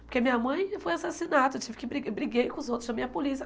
Porque minha mãe foi assassinada, eu tive que bri briguei com os outros, chamei a polícia.